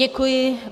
Děkuji.